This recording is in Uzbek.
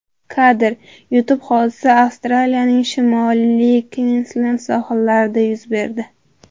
Kadr: YouTube Hodisa Avstraliyaning Shimoliy Kvinslend sohillarida yuz berdi.